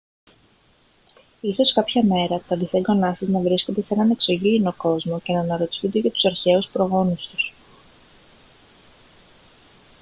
ίσως κάποια μέρα τα δισέγγονά σας να βρίσκονται σε έναν εξωγήινο κόσμο και να αναρωτιούνται για τους αρχαίους προγόνους τους